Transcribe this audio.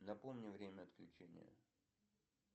напомни время отключения